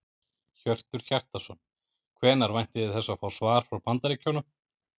Hjörtur Hjartarson: Hvenær væntið þið þess að fá svar frá Bandaríkjunum?